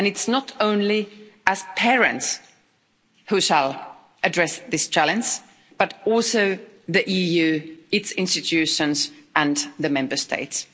And it's not only parents who shall address this challenge, but also the EU, its institutions and the Member States.